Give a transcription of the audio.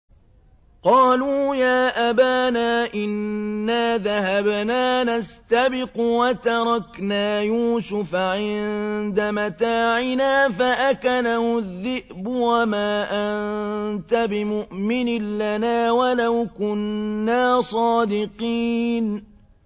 قَالُوا يَا أَبَانَا إِنَّا ذَهَبْنَا نَسْتَبِقُ وَتَرَكْنَا يُوسُفَ عِندَ مَتَاعِنَا فَأَكَلَهُ الذِّئْبُ ۖ وَمَا أَنتَ بِمُؤْمِنٍ لَّنَا وَلَوْ كُنَّا صَادِقِينَ